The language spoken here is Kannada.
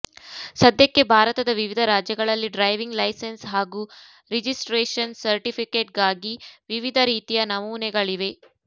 ಸದ್ಯಕ್ಕೆ ಭಾರತದ ವಿವಿಧ ರಾಜ್ಯಗಳಲ್ಲಿ ಡ್ರೈವಿಂಗ್ ಲೈಸೆನ್ಸ್ ಹಾಗೂ ರಿಜಿಸ್ಟ್ರೇಷನ್ ಸರ್ಟಿಫಿಕೇಟ್ಗಾಗಿ ವಿವಿಧ ರೀತಿಯ ನಮೂನೆಗಳಿವೆ